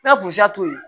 N'a to yen